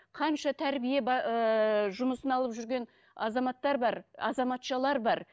қанша тәрбие ыыы жұмысын алып жүрген азаматтар бар азаматшалар бар